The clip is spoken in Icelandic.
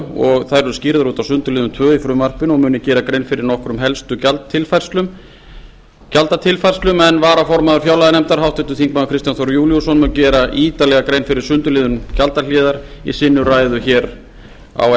og þær eru skýrðar út á sundurliðun tvö í frumvarpinu og mun ég gera grein fyrir nokkrum helstu gjaldatilfærslum en varaformaður fjárlaganefndar háttvirtir þingmenn kristján þór júlíusson mun gera ítarlega grein fyrir sundurliðunum gjaldahliðar í sinni ræðu hér á